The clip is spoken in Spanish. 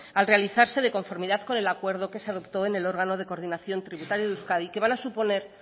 al realizarse de conformidad con el acuerdo que se adoptó en el órgano de coordinación tributaria de euskadi que van a suponer